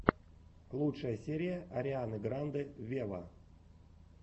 лучшая серия арианы гранде вево